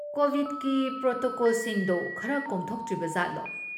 ꯀꯣꯕꯤꯗꯀꯤ ꯄ꯭ꯔꯣꯇꯣꯀꯣꯜꯁꯤꯡꯗꯣ ꯈꯔ ꯀꯣꯝꯊꯣꯛꯇ꯭ꯔꯤꯕꯖꯥꯠꯂꯣ?